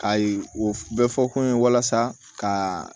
Ka ye o bɛɛ fɔ ko n ye walasa ka